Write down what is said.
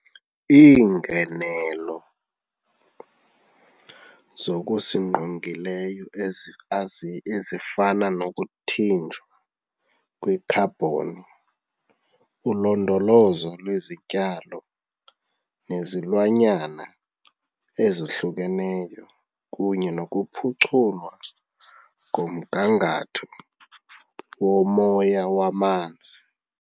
Iingenelo zokusingqongileyo ezifana nokuthinjwa kwekhabhoni, ulondolozo lwezityalo nezilwanyana ezohlukeneyo kunye nokuphuculwa komgangatho womoya wamanzi.